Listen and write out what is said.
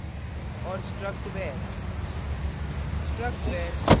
struct struct _ name and struct _ var;